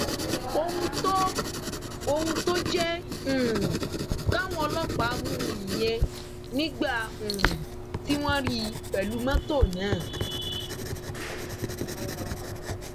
ohun tó ohun tó jẹ um káwọn ọlọpàá mú un nìyẹn nígbà um tí wọn rí i pẹlú mọtò náà